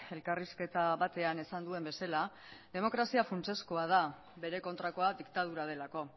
elkarrizketa batean esan duen bezala demokrazia funtsezkoa da bere kontrakoa diktadura delako